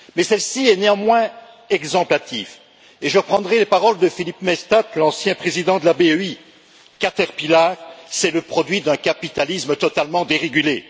Mais celle ci a néanmoins valeur d'exemple et je reprendrai les paroles de Philippe Maystadt, l'ancien président de la BEI Caterpillar, c'est le produit d'un capitalisme totalement dérégulé.